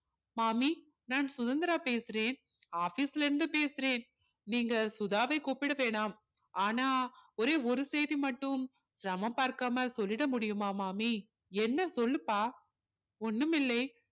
மாமி நான் சுதந்திரா பேசுறேன் office ல இருந்து பேசுறேன் நீங்க சுதாவை கூப்பிட வேணாம் ஆனால் ஒரே ஒரு செய்தி மட்டும் சிரமம் பார்க்காம செல்லிட முடியுமா மாமி என்ன சொல்லுப்பா ஒன்னுமில்லை